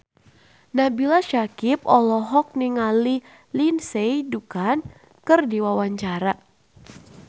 Nabila Syakieb olohok ningali Lindsay Ducan keur diwawancara